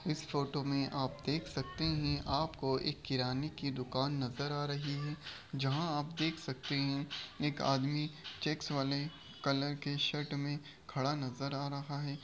इस फोटो में आप देख सकते हैं। आपको एक किराने की दुकान नजर आ रही है। जहाँ आप देख सकते हैं एक आदमी चेक्स वाले कलर के शर्ट में खड़ा नजर आ रहा है।